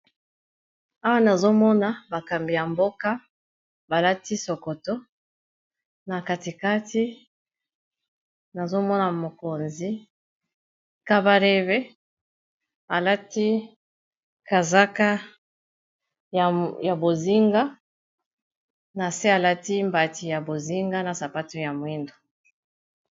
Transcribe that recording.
awa nazomona bakambi ya mboka balati sokoto na katikati nazomona mokonzi kabareve alati kazaka ya bozinga na se alati mbati ya bozinga na sapato ya moindo